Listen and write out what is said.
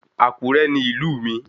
Àkúrẹ́ ni ìlú mi